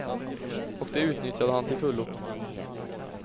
Och det utnyttjade han till fullo.